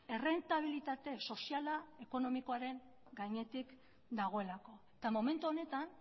errentabilitate soziala ekonomikoaren gainetik dagoelako eta momentu honetan